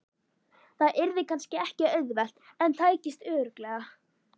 Það yrði kannski ekki auðvelt en tækist örugglega.